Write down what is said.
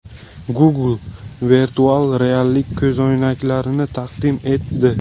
Google virtual reallik ko‘zoynaklarini taqdim etdi.